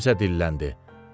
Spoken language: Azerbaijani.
Kimsə dilləndi.